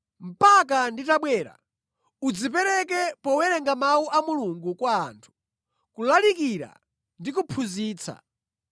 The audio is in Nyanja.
Mpaka nditabwera, udzipereke powerenga mawu a Mulungu kwa anthu, kulalikira ndi kuphunzitsa.